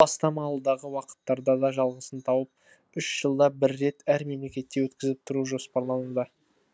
бастама алдағы уақыттарда да жалғасын тауып үш жылда бір рет әр мемлекетте өткізіп тұру жоспарлануда